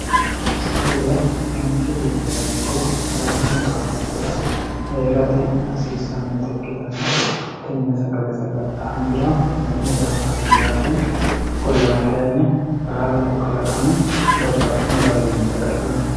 sagale manchi beettirano ikko kalaqamu baalunkura heerate hasiissannota ikkitanno tenne sagale saga'la hoongiro hee'ne danfanni yaate ikkkollana kayinni baalunku kalaqami babbaxino garinni saga'lanno